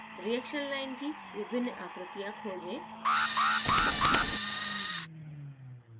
reaction line की विभिन्न आकृतियाँ खोजें